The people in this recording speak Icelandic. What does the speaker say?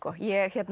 ég